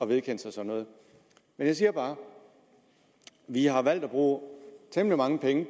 vedkende sig men jeg siger bare at når vi har valgt at bruge temmelig mange penge i